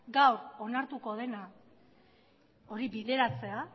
gaur onartuko dena hori bideratzea